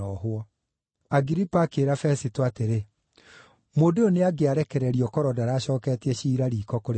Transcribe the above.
Agiripa akĩĩra Fesito atĩrĩ, “Mũndũ ũyũ nĩangĩarekererio korwo ndaracooketie ciira riiko kũrĩ Kaisari.”